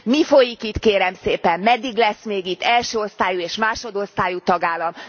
Mi folyik itt, kérem szépen? Meddig lesz még itt első osztályú és másodosztályú tagállam?